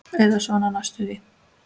Eða svona næstum því.